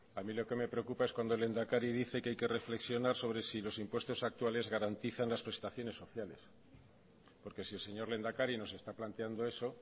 a mí lo que me preocupa es cuando el lehendakari dice que hay que reflexionar sobre si los impuestos actuales garantizan las prestaciones sociales porque si el señor lehendakari nos está planteando eso